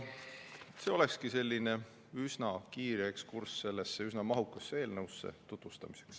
See olekski üsna kiire ekskurss sellesse üsna mahukasse eelnõusse, tutvustamiseks.